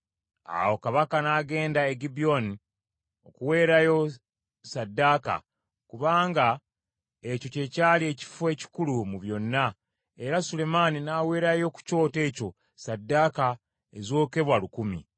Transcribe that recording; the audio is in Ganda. Awo kabaka n’agenda e Gibyoni okuweerayo ssaddaaka, kubanga ekyo kye kyali ekifo ekikulu mu byonna, era Sulemaani n’aweerayo ku kyoto ekyo ssaddaaka ezookebwa lukumi.